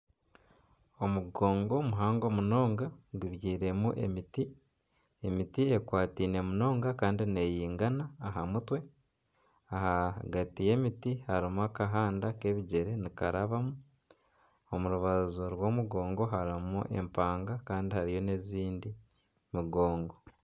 Omugongo muhango munonga gubyairemu emiti emiti ekwataine munonga Kandi neyingana aha mutwe, aha gati y'emiti harimu akahanda kebigyere nikarabamu ,omurubaju rw'omugongo harimu empanga Kandi hariyo n'endiijo mugongo.